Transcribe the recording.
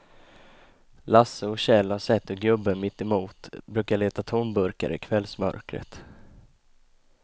Lasse och Kjell har sett hur gubben mittemot brukar leta tomburkar i kvällsmörkret.